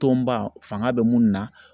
Tɔnba fanga bɛ mun na